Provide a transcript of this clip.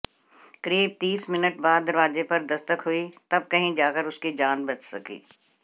करीब तीस मिनट बाद दरवाजे पर दस्तक हुई तब कही जाकर उसकी जान बच सकी